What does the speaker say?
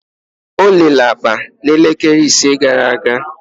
Olele akpa na elekele ise gara aga.